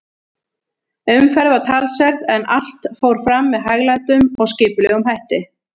Umferð var talsverð, en allt fór fram með hæglátum og skipulegum hætti.